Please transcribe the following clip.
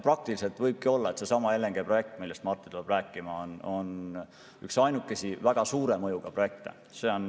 Praktiliselt võibki olla nii, et seesama LNG‑projekt, millest Marti tuleb rääkima, on ainuke väga suure mõjuga projekt.